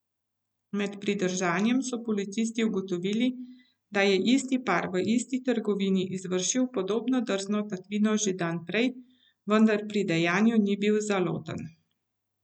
Med pridržanjem so policisti ugotovili, da je isti par v isti trgovini izvršil podobno drzno tatvino že dan prej, vendar pri dejanju ni bil zaloten.